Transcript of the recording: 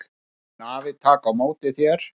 Nú mun afi taka á móti þér.